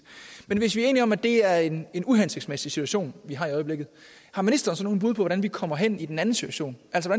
men hvis enige om at det er en uhensigtsmæssig situation vi har i øjeblikket har ministeren så nogle bud på hvordan vi kommer hen i den anden situation altså